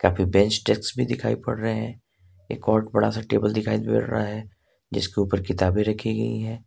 ये best desk भी दिखाई पड़ रहे हैं एक और बड़ा सा टेबल दिखाई दे रहा है जिसके ऊपर किताबें रखी गई हैं।